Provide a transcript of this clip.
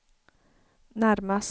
närmast